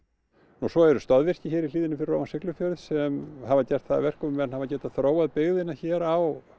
og svo eru stoðvirki hér í hlíðinni fyrir ofan Siglufjörð sem hafa gert það að verkum að menn hafa getað þróað byggðina hér á